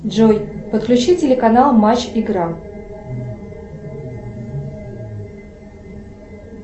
джой подключи телеканал матч игра